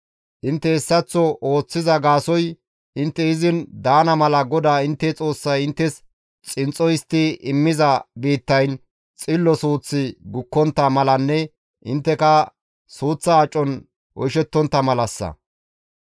Intte hessaththo ooththiza gaasoykka intte izin daana mala GODAA intte Xoossay inttes xinxxo histti immiza biittayn xillo suuththi gukkontta malanne intteka suuththa acon oyshettontta malassa.